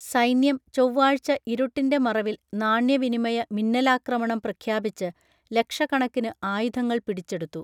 സൈന്യം ചൊവ്വാഴ്ച ഇരുട്ടിന്റെ മറവിൽ നാണ്യവിനിമയ മിന്നലാക്രമണം പ്രഖ്യാപിച്ച് ലക്ഷക്കണക്കിന് ആയുധങ്ങൾ പിടിച്ചെടുത്തു